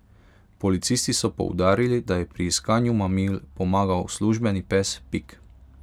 Policisti so poudarili, da je pri iskanju mamil pomagal službeni pes Pik.